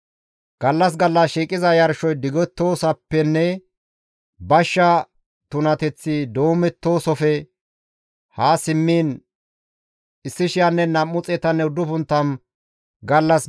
«Gallas gallas shiiqiza yarshoy digettoosafenne bashsha tunateththi doomettoosafe ha simmiin 1,290 gallas gidana.